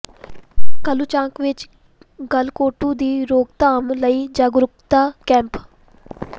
ਕਾਲੂ ਚਾਂਗ ਵਿੱਚ ਗਲਘੋਟੂ ਦੀ ਰੋਕਥਾਮ ਲਈ ਜਾਗਰੂਕਤਾ ਕੈਂਪ